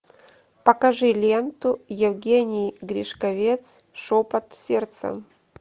покажи ленту евгений гришковец шепот сердца